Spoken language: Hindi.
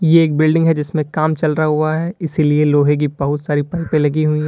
ये एक बिल्डिंग है जिसमें काम चल रहा हुआ है इसीलिए लोहे की बोहोत सारी पाइपे लगी हुई हैं।